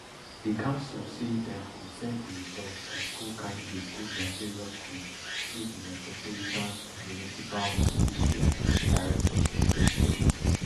di council say dem go send di results of school candidates go dia various schools through di metropolitan municipal or district directors of education